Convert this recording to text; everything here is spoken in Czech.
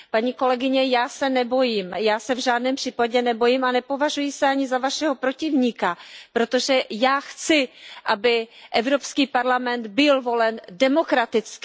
Paní kolegyně, já se nebojím, já se v žádném případě nebojím a nepovažuji se ani za Vašeho protivníka, protože já chci, aby Evropský parlament byl volen demokraticky.